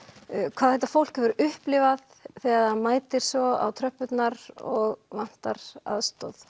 hvað þetta fólk hefur upplifað þegar það mætir svo á tröppurnar og vantar aðstoð